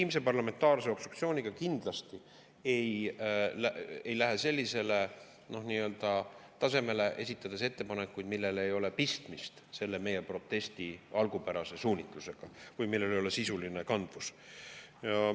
Meie kindlasti ei legitiimse parlamentaarse obstruktsiooniga sellisele tasemele, et esitame ettepanekuid, millel ei ole pistmist meie protesti algupärase suunitlusega või millel ei ole sisulist kandvust.